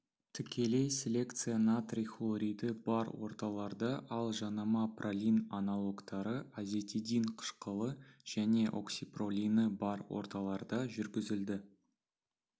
тікелей селекция натрий хлориді бар орталарда ал жанама пролин аналогтары азетидин қышқылы және оксипролины бар орталарда жүргізілді